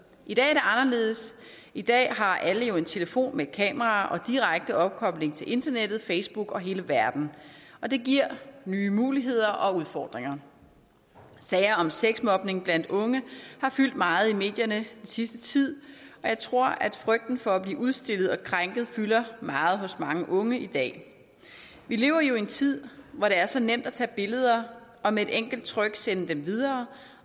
i dag er det anderledes i dag har alle jo en telefon med et kamera og direkte opkobling til internettet facebook og hele verden og det giver nye muligheder og udfordringer sager om sexmobning blandt unge har fyldt meget i medierne den sidste tid og jeg tror at frygten for at blive udstillet og krænket fylder meget hos mange unge i dag vi lever jo i en tid hvor det er så nemt at tage billeder og med et enkelt tryk sende dem videre